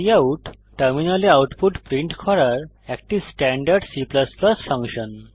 cout টার্মিনালে output print করার একটি স্ট্যান্ডার্ড C ফাংশন